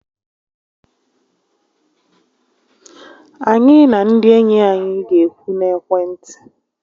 Anyị na ndị enyi anyị ga-ekwu n'ekwentị